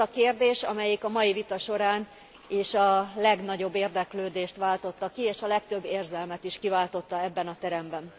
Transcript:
Ez az a kérdés, amelyik a mai vita során is a legnagyobb érdeklődést váltotta ki és a legtöbb érzelmet is kiváltotta ebben a teremben.